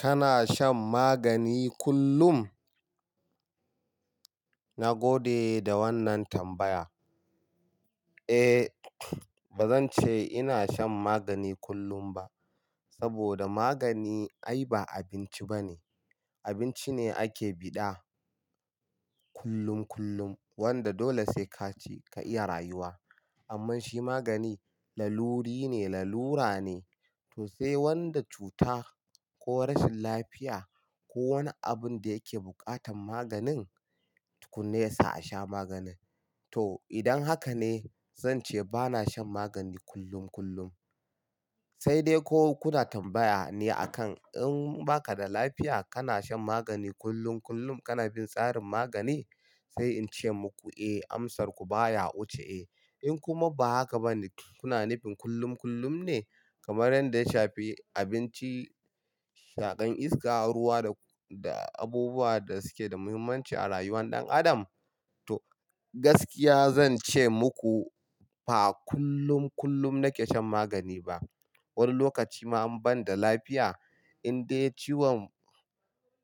Kana shan magani kullum? Na gode da wannan tambaya. Eh, ba zan ce ina shan magani kullum ba, saboda magani ai ba abinci ba ne. Abinci ne ake bi da kullum kullum wanda dole sai ka ci ka iya rayuwa. Amma shi magani laluri ne, lalura ne. To sai wanda cuta ko rashin lafiya ko wani abun da yake buƙatan maganin tukuna ya sa a sha maganin. To idan haka ne zan ce ba na shan magani kullum kullum. Sai dai ko kuna tambaya ne a kan in ba ka da lafiya kana shan magani kullum kullum, kana bin tsarin magani? Sai in ce muku eh, amsarku baya wuce eh. In kuma ba haka ba ne, kuna nufin kullum kullum ne kamar yadda ya shafi abinci, shaƙan iska, ruwa da abubuwa da suke da muhimmanci a rayuwar ɗan adam? To gaskiya zan ce muku ba kullum kullum nake shan magani ba. Wani lokaci ma an bani da lafiya, in dai ciwon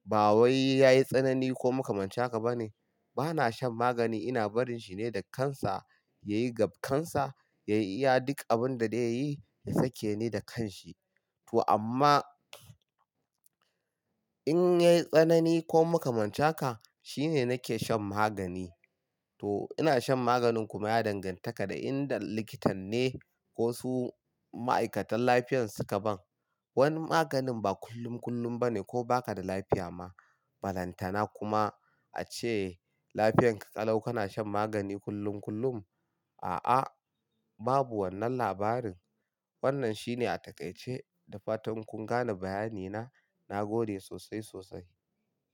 ba wai yayi tsanani ko muka manta haka ba ne, ba na shan magani. Ina barin shi ne da kansa yayi gab kansa, yayi iya duk abin da zai yi ya sake ni da kanshi. To amma in yayi tsanani ko muka mancin haka, shi ne nake shan magani. To ina shan maganin kuma ya danganta da inda likitan ne ko su ma'aikatan lafiyar suka ban. Wani maganin ba kullum kullum ba ne ko ba ka da lafiya ma. Balantana kuma ace lafiyanka ƙalau kana shan magani kullum kullum. A'a, babu wannan labarin. Wannan shi ne a takaice da fatan kun gane bayani na. Na gode sosai sosai.